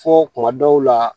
Fɔ kuma dɔw la